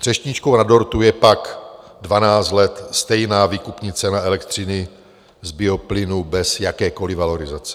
Třešničkou na dortu je pak 12 let stejná výkupní cena elektřiny z bioplynu bez jakékoliv valorizace.